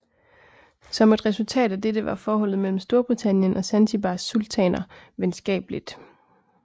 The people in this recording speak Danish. Som et resultat af dette var forholdet mellem Storbritannien og Zanzibars sultaner venskabeligt